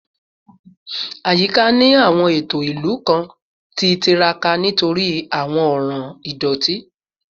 Ayika ni awọn eto ilu kan ti tiraka nitori awọn ọran idoti